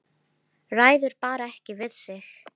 Ræður bara ekki við sig.